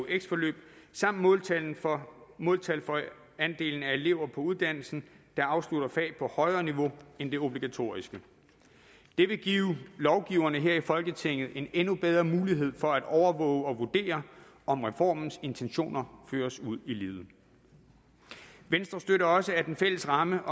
eux forløb samt måltal for måltal for andelen af elever på uddannelsen der afslutter fag på højere niveau end det obligatoriske det vil give lovgiverne her i folketinget en endnu bedre mulighed for at overvåge og vurdere om reformens intentioner føres ud i livet venstre støtter også at den fælles ramme